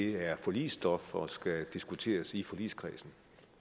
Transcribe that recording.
er forligsstof og skal diskuteres i forligskredsen